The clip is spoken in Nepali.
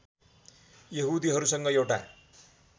यहुदीहरूसँग एउटा